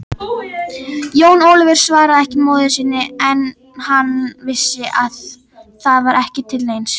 Jón Ólafur svaraði ekki móður sinni, hann vissi að það var ekki til neins.